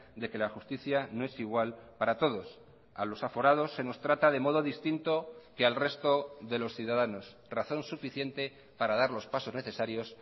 de que la justicia no es igual para todos a los aforados se nos trata de modo distinto que al resto de los ciudadanos razón suficiente para dar los pasos necesarios